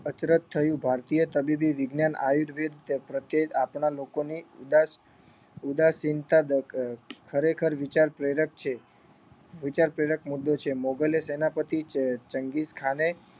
અચરજ થયું ભારતીય તબીબી વિજ્ઞાન આયુર્વેદ પ્રત્યે આપણા લોકોની ઉદાસ ઉદાસીનતા દ ખરેખર વિચાર પ્રેરક છે વિચાર પ્રેરક મુદ્દો છે મોગલી સેનાપતિ ચ ચંગીઝ ખાને